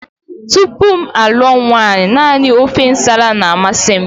Tupu m alụọ nwaanyị, naanị ofe nsala na-amasị m